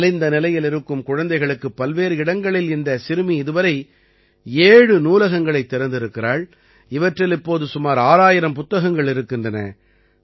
நலிந்த நிலையில் இருக்கும் குழந்தைகளுக்கு பல்வேறு இடங்களில் இந்தச் சிறுமி இதுவரை ஏழு நூலகங்களைத் திறந்திருக்கிறாள் இவற்றில் இப்போது சுமார் 6000 புத்தகங்கள் இருக்கின்றன